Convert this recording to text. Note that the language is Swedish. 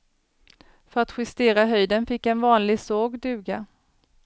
För att justera höjden fick en vanlig såg duga.